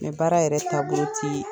Nga baara yɛrɛ taabolo ti